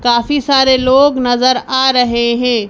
काफी सारे लोग नजर आ रहे है।